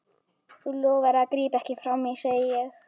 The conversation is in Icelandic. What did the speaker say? Þú lofaðir að grípa ekki frammí, segi ég.